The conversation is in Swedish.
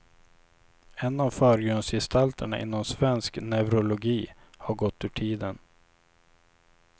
En av förgrundsgestalterna inom svensk neurologi har gått ur tiden.